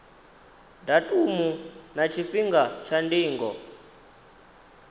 datumu na tshifhinga tsha ndingo